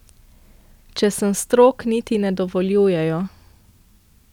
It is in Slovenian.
Če sem strog, niti ne dovoljujejo.